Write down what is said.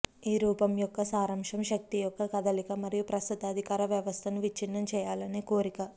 ఈ రూపం యొక్క సారాంశం శక్తి యొక్క కదలిక మరియు ప్రస్తుత అధికార వ్యవస్థను విచ్ఛిన్నం చేయాలనే కోరిక